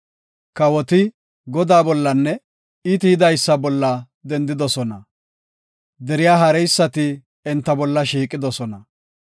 Kawoti Godaa bollanne I tiyidaysa bolla dendidosona; deriya haareysati enta bolla shiiqidosona.